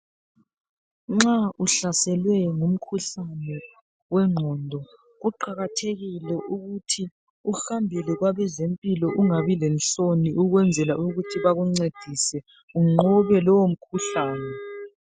Nxa uhlaselwe ngumkhuhlane wengqondo kuqakathekile ukuthi uhambele kwabezempilo ungabi lenhloni ukwenzela ukuthi bakuncedise unqobe lowo mkhuhlane .